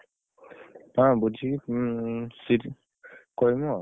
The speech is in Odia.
ହଁ ତମ୍~ ତମକୁ ଛାଡିକି ତମେ bowler ହଁ।